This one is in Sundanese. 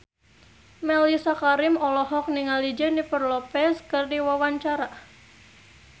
Mellisa Karim olohok ningali Jennifer Lopez keur diwawancara